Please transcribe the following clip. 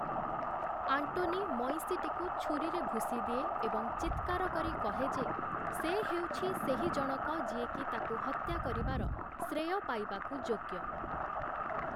Antony ମଇଁଷିଟିକୁ ଛୁରୀରେ ଭୁସିଦିଏ ଏବଂ ଚିତ୍କାର କରି କହେ ଯେ, ସେ ହେଉଛି ସେହିଜଣକ ଯିଏକି ତାକୁ ହତ୍ୟା କରିବାର ଶ୍ରେୟ ପାଇବାକୁ ଯୋଗ୍ୟ ।